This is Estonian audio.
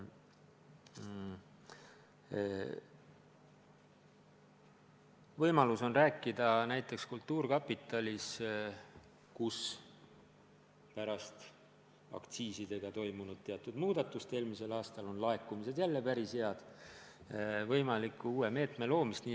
Võimalus on arutada näiteks kultuurkapitalis, kus pärast eelmisel aastal aktsiisidega toimunud muudatust on laekumised jälle päris head, võimaliku uue meetme loomist.